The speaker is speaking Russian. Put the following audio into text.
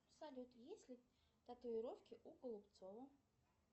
салют есть ли татуировки у голубцова